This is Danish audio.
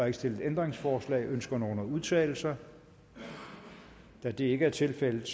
ikke stillet ændringsforslag ønsker nogen at udtale sig da det ikke er tilfældet